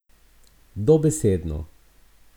Dobesedno!